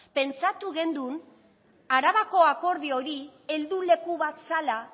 pentsatu gendun arabako akordio hori helduleku bat zala